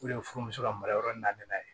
O de ye furumuso la mara yɔrɔ na ye